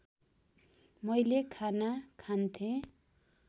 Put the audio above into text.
मैले खाना खान्थेँ